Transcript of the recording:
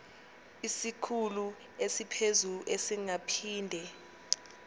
isikhulu esiphezulu singaphinde